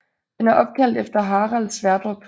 Den er opkaldt efter Harald Sverdrup